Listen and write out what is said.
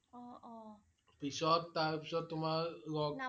পিছত, তাৰ পিছত তোমাৰ লগ